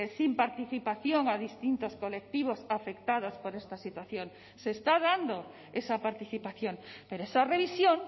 sin participación a distintos colectivos afectados por esta situación se está dando esa participación pero esa revisión